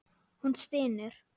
Hún stynur.